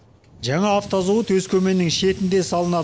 жаңа автозауыт өскеменнің шетінде салынады